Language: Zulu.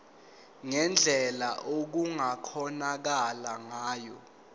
ngendlela okungakhonakala ngayo